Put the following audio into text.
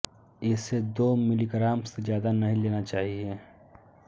इसे दो मिलीग्राम से ज्यादा नही लेना चाहिए